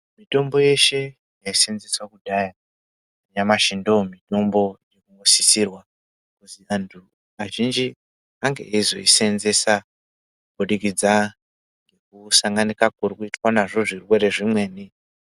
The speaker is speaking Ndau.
Mitombo yeshe yaisenzeswa kudhaya nyamashi ndomutombo yosisirwa kuzi antu azhinji ange eizoisenzesa kubudikidza kusanganika kurikuitika nazvo zvirwere zvimweni.